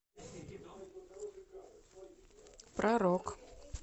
про рок